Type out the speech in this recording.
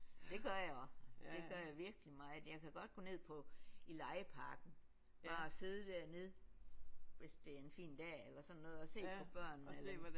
Det gør jeg også det gør jeg virkelig meget. Jeg kan godt gå ned på i legeparken bare at sidde dernede hvis det er en fin dag eller sådan noget og se på børnene